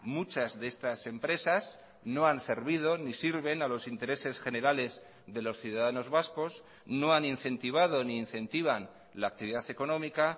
muchas de estas empresas no han servido ni sirven a los intereses generales de los ciudadanos vascos no han incentivado ni incentivan la actividad económica